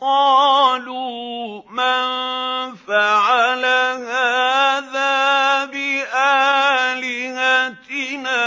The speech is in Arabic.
قَالُوا مَن فَعَلَ هَٰذَا بِآلِهَتِنَا